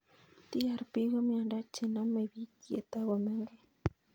TARP ko miondo che namei pik ye toko mengech